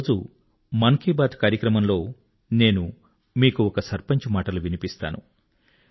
ఈరోజు మన్ కీ బాత్ కార్యక్రమంలో నేను మీకు ఒక సర్పంచ్ మాటలు వినిపిస్తాను